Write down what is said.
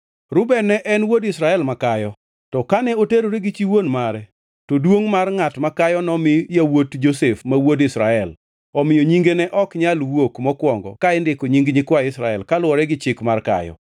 Reuben ne en wuod Israel makayo, to kane oterore gi chi wuon mare, to duongʼ mar ngʼat makayo nomi yawuot Josef ma wuod Israel, omiyo nyinge ne ok nyal wuok mokwongo ka indiko nying nyikwa Israel kaluwore gi chik mar kayo.